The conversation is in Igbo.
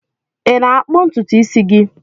Ị na-akpụ ntutu isi gị?